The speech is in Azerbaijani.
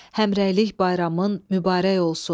Həmrəylik bayramın mübarək olsun.